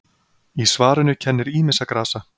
Í svarinu kennir ýmissa grasa.